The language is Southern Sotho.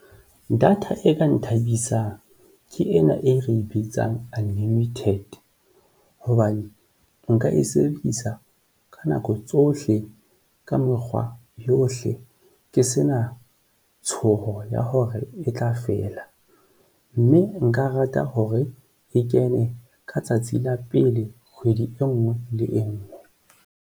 Data e ka nthabisang ke ena e re bitsang unlimited hobane nka e sebedisa ka nako tsohle ka mekgwa yohle hle ke se na tshoho ya hore e tla fela mme nka rata hore e kene ka tsatsi la pele kgwedi e nngwe le e nngwe.